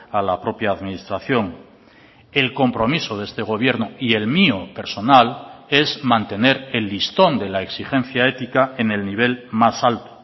a la propia administración el compromiso de este gobierno y el mío personal es mantener el listón de la exigencia ética en el nivel más alto